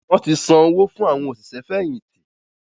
wọ́n ti san owo fún “ àwọn òṣìṣẹ́ fẹ̀yìntì”.